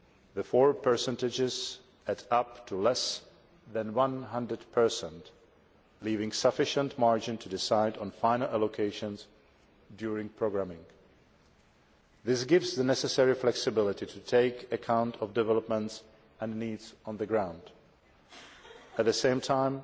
The four percentages add up to less than 100, leaving sufficient margin to decide on final allocations during programming. This gives the necessary flexibility to take account of developments and needs on the ground. At the same time,